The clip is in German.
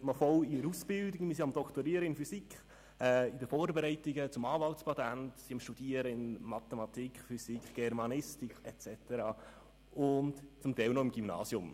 Wir sind am Doktorieren in Physik, in den Vorbereitungen zum Anwaltspatent, im Studium von Mathematik, Physik, Germanistik und so weiter und zum Teil noch im Gymnasium.